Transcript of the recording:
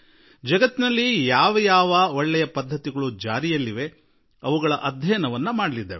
ಜಗತ್ತಿನಲ್ಲಿ ಯಾವ ಯಾವ ಕ್ರೀಡಾಭ್ಯಾಸಗಳು ನಡೆಯುತ್ತಿವೆಯೋ ಅವುಗಳ ಅಧ್ಯಯನ ಮಾಡಲಾಗುತ್ತದೆ